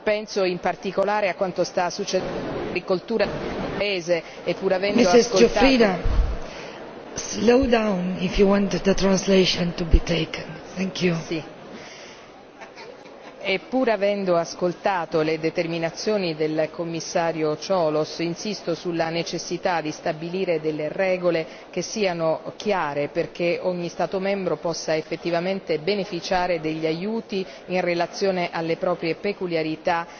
Penso in particolare a quanto sta succedendo per l'agricoltura di quel paese, e, pur avendo ascoltato le dichiarazioni del Commissario Cioloş, insisto sulla necessità di stabilire delle regole che siano chiare perché ogni Stato membro possa effettivamente beneficiare degli aiuti in relazione alle proprie peculiarità